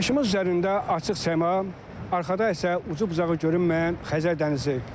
Başımız üzərində açıq səma, arxada isə ucu-bucağı görünməyən Xəzər dənizi.